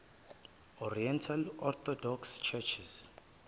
oriental orthodox churches